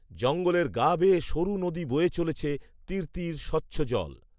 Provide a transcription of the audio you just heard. জঙ্গলের গা বেয়ে সরু নদী বয়ে চলেছে, তিরতির স্বচ্ছজল